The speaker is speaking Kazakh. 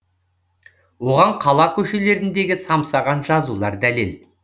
оған қала көшелеріндегі самсаған жазулар дәлел